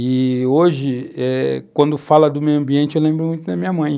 E hoje, eh quando falam do meio ambiente, eu lembro muito da minha mãe.